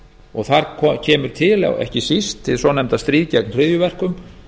og þar kemur til ekki síst hið svonefnda stríð gegn hryðjuverkum